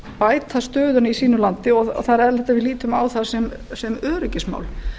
bæta stöðuna í sínu landi og það er eðlilegt að við lítum á það sem öryggismál